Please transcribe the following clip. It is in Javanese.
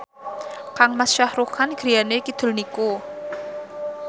kangmas Shah Rukh Khan griyane kidul niku